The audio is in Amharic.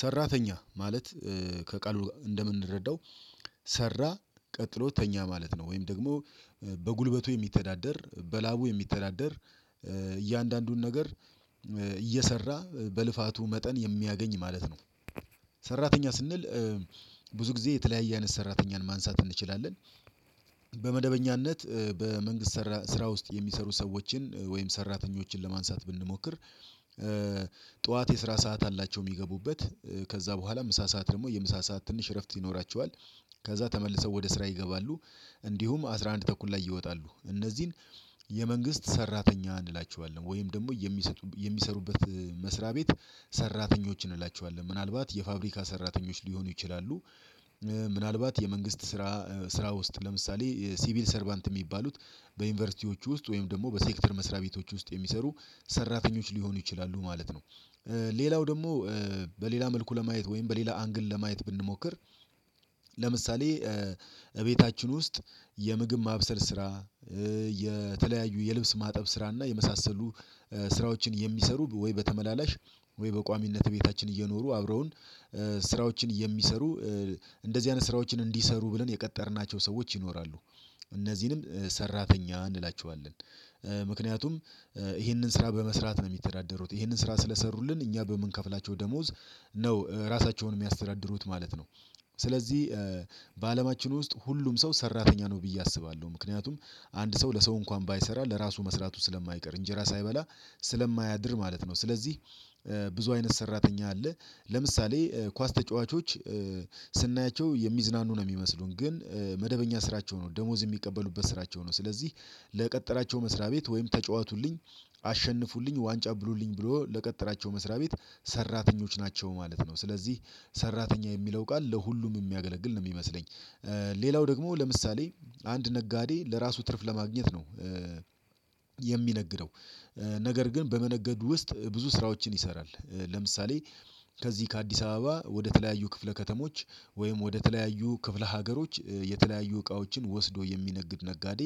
ሰራተኛ ማለት ከቃሉ እንደምንረዳው ሰራ ቀጥሎ ተኛ ማለት ነው። ወይም ደግሞ በጉልበቱ የሚተዳደር በላቡ የሚተዳደር እያንዳንዱን ነገር እየሰራ በልፋቱ መጠን የሚያገኝ ማለት ነው። ሰራተኛ ስንል ብዙ ጊዜ የተለያየ አይነት ሰራተኛን ማንሳት እንችላለን። በመደበኛነት በመንግስት ስራ ውስጥ የሚሰሩ ሰዎችን ወይም ሰራተኞችን ለማንሳት ብንሞክር ጡዋት የስራ ሰዓት አላቸው የሚገቡበት ከዛ ቦኋላ ምሳ ሰዓት ደግሞ የምሳ ሰዓት ትንሽ እረፍት ይኖራቸዋል። ከዛ ተመልሶ ወደ ስራ ይገባሉ። እንዲሁም አስራ አንድ ተኩል ላይ ይወጣሉ እነዚህን የመንግስት ሰራተኛ እንላቸዋለን። ወይም ደግሞ የሚሰጡ የሚሰሩበት መስሪያ ቤት ሰራተኞችን እንላቸዋለን ምናልባት የፋብሪካ ሰራተኞች ሊሆኑ ይችላሉ። ምናልባት የመንግስት ስራ ስራ ውስጥ ለምሳሌ ሲቪል ሰርባንት የሚባሉት በዩኒቨርሲቲዎቹ ውስጥ ወይም ደግሞ በሴክተር መስሪያ ቤቶች ውስጥ የሚሰሩ ሰራተኞች ሊሆኑ ይችላሉ ማለት ነው። ሌላው ደግሞ በሌላ መልኩ ለማየት ወይም በሌላ አንግል ለማየት ብንሞክር ለምሳሌ እቤታችን ውስጥ የምግብ ማብሰል ስራ የተለያዩ የልብስ ማጠብ ስራና የመሳሰሉ ስራዎችን የሚሰሩ ወይ በተመላላሽ ወይ በቋሚነት ቤታችን እየኖሩ አብረውን ስራዎችን የሚሰሩ እንደዚህ አይነት ስራዎችን እንዲሰሩ ብለን የቀጠርናቸው ሰዎች ይኖራሉ። እነዚህንም ሰራተኛ እንላቸዋለን ምክንያቱም ይህንን ስራ በመስራት ነው የሚተዳደሩት ይህንን ስራ ስለሰሩልን እኛ በምንከፍላቸው ደሞዝ ነው ራሳቸውን የሚያስተዳድሩት ማለት ነው። ስለዚህ በአለማችን ውስጥ ሁሉም ሰው ሰራተኛ ነው ብዬ አስባለሁ ምክንያቱም አንድ ሰው ለሰው እንኳን ባይሰራ ለራሱ መስራቱ ስለማይቀር እንጀራ ሳይበላ ስለማያድር ማለት ነው። ስለዚህ ብዙ አይነት ሰራተኛ አለ ለምሳሌ ኳስ ተጫዋቾች ስናያቸው የሚዝናኑ ነው የሚመስሉን ግን መደበኛ ስራቸው ነው ደሞዝ የሚቀበሉበት ስራቸው ነው ስለዚህ ለቀጠራቸው መስሪያ ቤት ወይም ተጫዋቱልኝ አሸንፉልኝ ዋንጫ ብሉልኝ ብሎ ለቀጠራቸው መስሪያ ቤት ሰራተኞች ናቸው ማለት ነው። ስለዚህ ሰራተኛ የሚለው ቃል ለሁሉም የሚያገለግል ነው የሚመስለኝ ሌላው ደግሞ ለምሳሌ አንድ ነጋዴ ለራሱ ትርፍ ለማግኘት ነው የሚነግደውደ ነገር ግን በመነገዱ ውስጥ ብዙ ስራዎችን ይሰራል ለምሳሌ ከዚህ ከአዲስ አበባ ወደ ተለያዩ ክፍለ ከተሞች ወይም ወደ ተለያዩ ክፍለ ሀገሮች የተለያዩ እቃዎችን ወስዶ የሚነግድ ነጋዴ